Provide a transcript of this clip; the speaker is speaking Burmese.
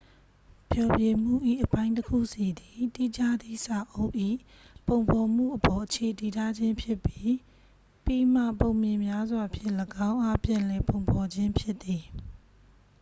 ဖျော်ဖြေမှု၏ အပိုင်းတစ်ခုစီသည် တိကျသည့်စာအုပ်၏ ပုံဖော်မှုအပေါ် အခြေတည်ထားခြင်းဖြစ်ပြီး ပြီးမှ ပုံပြင်များစွာဖြင့် ၎င်းအား ပြန်လည်ပုံဖော်ခြင်းဖြစ်သည်